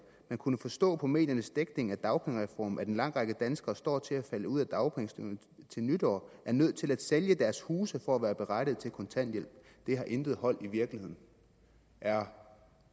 kunnet forstå på mediernes dækning af dagpengereformen at en lang række danskere der står til at falde ud af dagpengesystemet til nytår er nødt til at sælge deres huse for at være berettiget til kontanthjælp det har intet hold i virkeligheden er